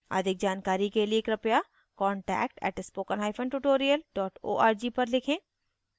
अधिक जानकारी के लिए कृपया contact @spokentutorial org पर लिखें